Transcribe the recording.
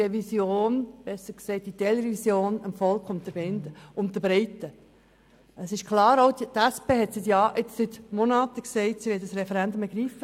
Das ist klar, und auch die SP sagt seit Monaten, sie wolle das Referendum ergreifen.